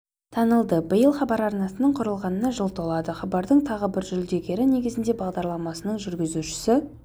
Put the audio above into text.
танылды биыл хабар арнасының құрылғанына жыл толады хабардың тағы бір жүлдегері негізінде бағдарламасының жүргізушісі